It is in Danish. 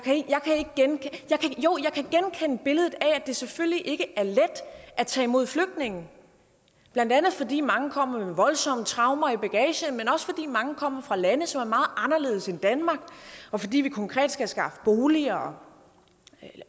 kan genkende billedet af at det selvfølgelig ikke er let at tage imod flygtninge blandt andet fordi mange kommer med voldsomme traumer i bagagen men også fordi mange kommer fra lande som anderledes end danmark og fordi vi konkret skal skaffe boliger og